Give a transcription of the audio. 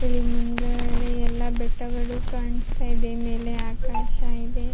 ಇಲ್ಲಿ ಮುಂಗಡೆ ಎಲ್ಲ ಬೆಟ್ಟ ಗಳು ಕಾಣಿಸ್ತಾ ಇದೆ ಮೇಲೆ ಆಕಾಶ ಇದೆ.